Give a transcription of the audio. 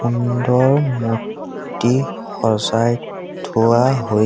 সুন্দৰ মূৰ্ত্তি সজাই থোৱা হৈ--